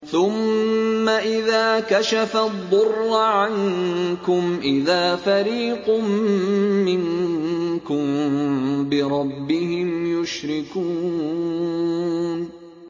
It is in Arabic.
ثُمَّ إِذَا كَشَفَ الضُّرَّ عَنكُمْ إِذَا فَرِيقٌ مِّنكُم بِرَبِّهِمْ يُشْرِكُونَ